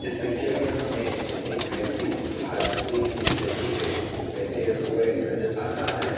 इस पिक्चर में हमें एक व्यक्ति हाथी की स्टैचू पे बैठे हुए नजर आ रहा है।